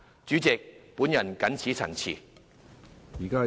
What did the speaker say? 主席，我謹此陳辭。